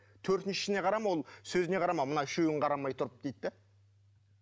төртіншісіне қарама ол сөзіне қарама мынау үшеуін қарамай тұрып дейді де